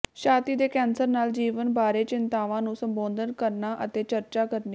ਛਾਤੀ ਦੇ ਕੈਂਸਰ ਨਾਲ ਜੀਵਨ ਬਾਰੇ ਚਿੰਤਾਵਾਂ ਨੂੰ ਸੰਬੋਧਨ ਕਰਨਾ ਅਤੇ ਚਰਚਾ ਕਰਨੀ